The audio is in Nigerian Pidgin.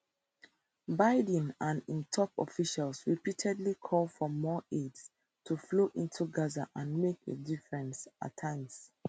biden and im top officials repeatedly call for more aid to flow into gaza and make a difference at times